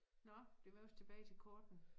Nåh det kunne være vi skulle tilbage til kortene